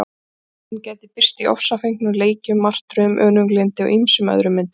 Reiðin gæti birst í ofsafengnum leikjum, martröðum, önuglyndi og ýmsum öðrum myndum.